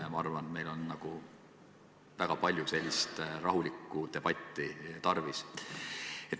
Ma arvan, meil on väga sellist rahulikku debatti tarvis.